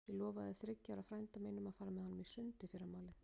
Ég lofaði þriggja ára frænda mínum að fara með honum í sund í fyrramálið.